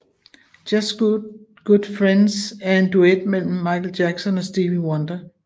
Just Good Friendser en duet mellem Michael Jackson og Stevie Wonder